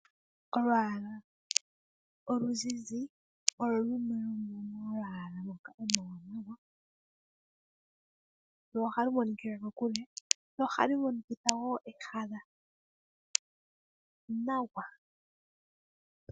Olwaala oluzizi olwo lumwe lwomomalwaala ngoka omawaanawa. Lwo ohalu monikila kokule, lwo ohalu monikitha wo ehala nawa.